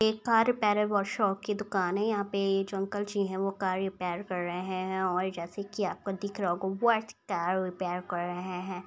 एक car repair workshop की दुकान है यहाँ पे ये जो अंकल जी है वो कार रिपेयर कर रहे है और जैसे की आपको दिख रहा होगा वो टायर रिपेयर कर रहे हैं।